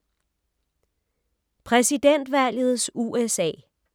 Præsidentvalgets USA